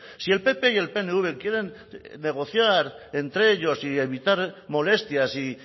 si el pp y el pnv quieren negociar entre ellos y evitar molestias y